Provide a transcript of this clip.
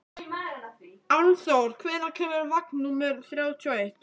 Álfþór, hvenær kemur vagn númer þrjátíu og eitt?